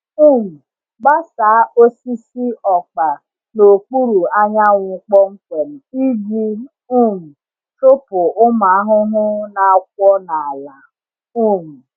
um Gbasaa osisi ọkpa n’okpuru anyanwụ kpọmkwem iji um chụpụ ụmụ ahụhụ na-akwọ n’ala. um